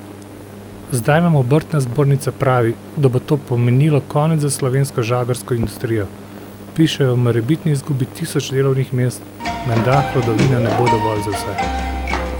Zdaj nam obrtna zbornica pravi, da bo to pomenilo konec za slovensko žagarsko industrijo, pišejo o morebitni izgubi tisoč delovnih mest, menda hlodovine ne bo dovolj za vse.